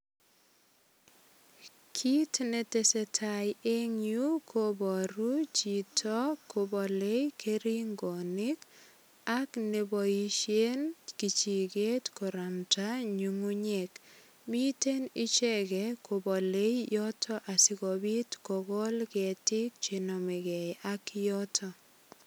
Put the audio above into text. Kit ne tesetai en yu kobaru chito kobale keringonik ak ne boisien kichiget koramndaen nyungunyek. Mite icheget kobolei yoto asigopit kogol ketiik che namegei ak yotok.